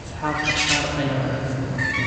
Asxaabta qaar ayaa wanaagsan